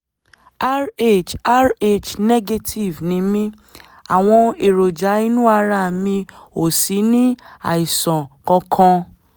rh rh negative ni mí àwọn èròjà inú ara mi ò sì ní àìsàn kankan